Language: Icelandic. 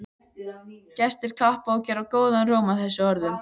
Gestir klappa og gera góðan róm að þessum orðum.